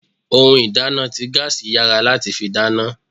Ohun ìdáná ti gaasi yára láti fi dáná.